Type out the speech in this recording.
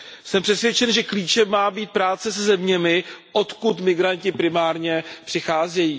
Jsem přesvědčen, že klíčem má být práce se zeměmi, odkud migranti primárně přicházejí.